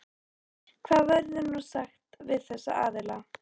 Hvað verður nú sagt við þessa aðila?